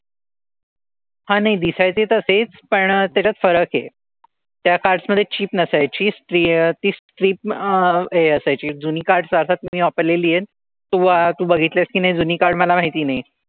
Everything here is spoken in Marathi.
हां नाही दिसायचे तसेच. पण त्याच्यात फरक आहे. त्या cards मधे chip नसायची. stri ती strip अह हे असायची जुनी cards अर्थात तुम्ही वापरलेली आहेत. तू तू बघितलेस कि नाही जुनी card मला माहिती नाही.